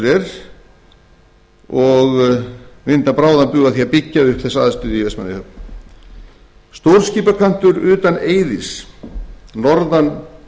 er því vinda þarf bráðan bug að því að byggja upp stórskipakant í vestmannaeyjum stórskipakantur utan eiðis norðan